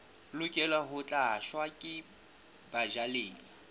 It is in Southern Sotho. lokela ho tlatswa ke bajalefa